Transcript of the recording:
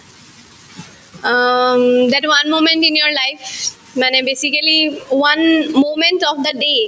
um, in your life মানে basically one moment of the day